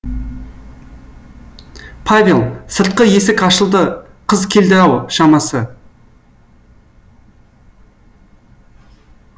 павел сыртқы есік ашылды қыз келді ау шамасы